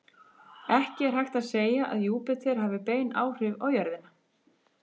Ekki er hægt að segja að Júpíter hafi bein áhrif á jörðina.